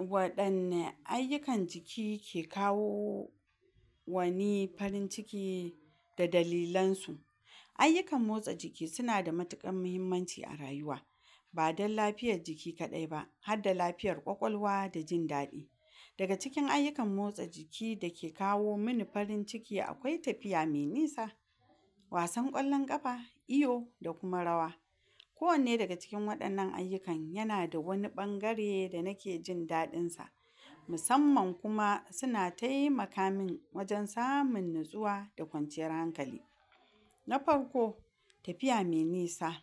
wadanne ayukan jiki ke kawo wani farin ciki da dalilan su ayukan motsa jiki suna da matukar mahimmanci a rayuwa ba dan lafiyar jiki kadai ba harda lafiyar kwakwalwa da jin dadi daga cikin ayukan motsa jiki dake kawo mani farin ciki akwai tafiya mai nisa wasan kwallon kafa iyo da kuma rawa kowanne daga cikin wadannan ayukan yana da wani bangare da nake jin dadin sa musamman kuma suna taimaka min wajen samun natsuwa da kwanciyar hankali na farko tafiya mai nisa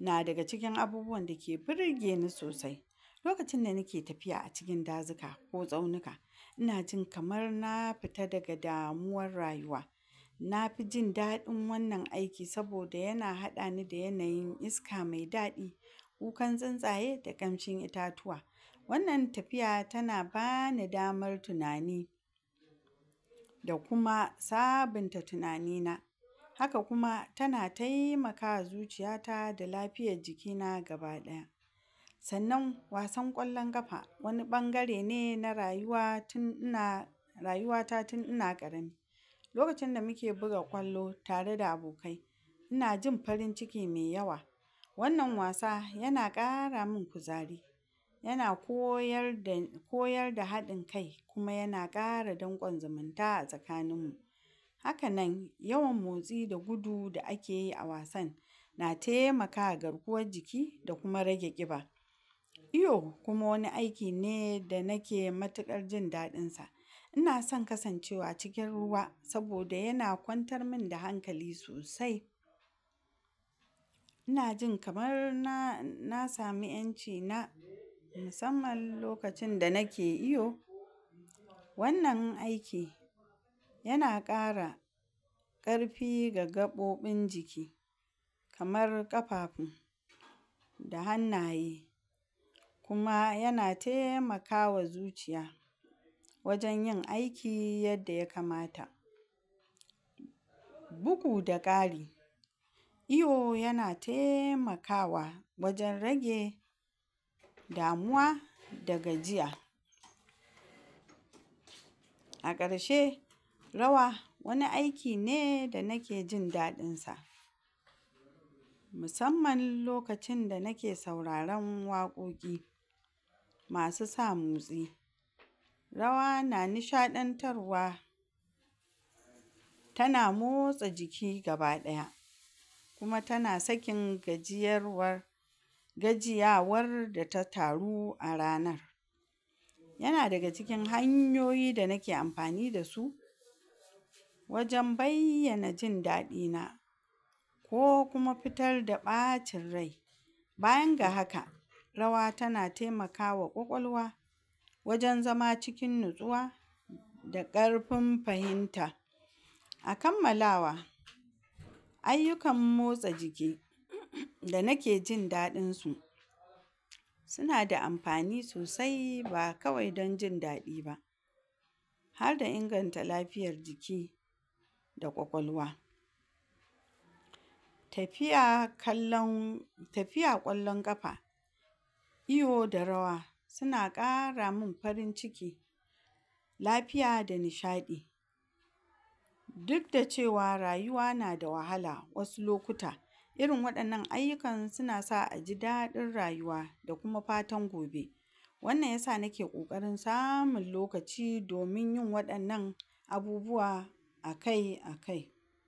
na daga cikin abubuwan dake burgeni sosai lokacin da nike tafiya a cikin dazuka ko tsaunuka ina jin kamar na fita daga damuwar rayuwa nafi jin dadin wannan aiki saboda yana hadani da yanayin isaka mai dadi kukan tsuntsaye da kamshin itatuwa wannan tafiya tana bani damar tunani da kuma sabunta tunani na haka kuma tana taimaka ma zuciya ta da lafiyar jikina gaba daya sannan wasan kwallon kafa wani bangare ne na rayuwa tun ina rayuwata tun ina karami lokacin da muke buga kwallo tare da abokai ina jin farin ciki mai yawa wannan wasa yana kara man kuzari yana koyar dani koyar da hadin kai kuma yana kara dankon zumunta a tsakanin mu haka nan yawan motsi da gudu da akeyi a wasan na taimaka ma garkuwar jiki da kuma rage kiba iyo kuma wani aiki ne da nike matukar jin dadin sa ina son kasancewa cikin ruwa saboda yana kwantar man da hankali sosai ina jin kamar na samu yanci na musamman lokacin da nike iyo wannan aiki yana kara karfi ga gabobon jiki kamar kafafu hannaye kuma yana taimakama zuciya wajen yin aiki yadda ya kamata bugu da kari iyo yana taimakawa wajen rage damuwa da gajiya a karshe rawa wani aiki ne da nike jin dadin sa musamman lokacin da nike sauraron wakoki masu sa motsi rawa na nishadantarwa tana motsa jiki gaba daya µ kuma tana sakin gajiyarwar gajiywar da ta taru a ranar yana daga cikin hanyoyi da nike amfani dasu wajen bayyana jin dadi na ko kuma fitar da bacin rai bayan ga haka rawa tana taimakawa kwakwalwa wajen zama cikin natsuwa da karfin fahimta a kammalawa ayukan motsa jiki da nike jin dadin su suna da amfani sosai ba kawai don jin dadi ba harda inganta lafiyar jiki da kwakwalwa tafiya kallon tafiya kwallon kafa iyo da rawa suna kara mun farin ciki lafiya da nishadi duk da cewa rayuwa nada wahala wasu lokuta irin wadannan ayukan suna sawa aji dadin rayuwa da kuma fatan gobe wannan yasa nike kokarin samun lokaci domin yin wadannan abubuwa akai akai